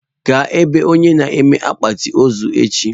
Gaa ebe onye na-eme akpati ozu echi.